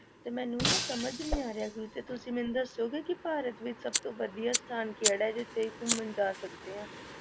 ਤੇ ਮੈਨੂੰ ਨਾ ਸਮਝ ਨੀ ਆ ਰਿਹਾ ਕੁਛ, ਤੁਸੀਂ ਮੈਨੂੰ ਦੱਸੋਗੇ ਕਿ ਭਾਰਤ ਵਿੱਚ ਸਭ ਤੋਂ ਵਧੀਆ ਸਥਾਨ ਕਿਹੜਾ ਹੈ ਜਿੱਥੇ ਘੁੰਮਣ ਜਾ ਸਕਦੇ ਹਾਂ?